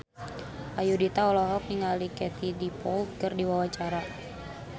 Ayudhita olohok ningali Katie Dippold keur diwawancara